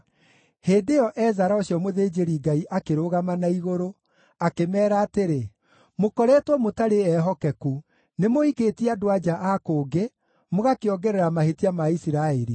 Hĩndĩ ĩyo Ezara ũcio mũthĩnjĩri-Ngai akĩrũgama na igũrũ, akĩmeera atĩrĩ, “Mũkoretwo mũtarĩ ehokeku; nĩmũhikĩtie andũ-a-nja a kũngĩ, mũgakĩongerera mahĩtia ma Isiraeli.